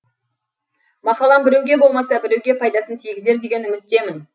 мақалам біреуге болмаса біреуге пайдасын тигізер деген үміттемін